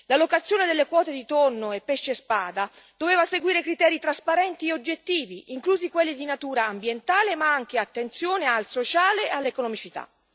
L'allocazione delle quote di tonno e pesce spada doveva seguire criteri trasparenti e oggettivi, inclusi quelli di natura ambientale, prestando attenzione altresì all'aspetto sociale e all'economicità.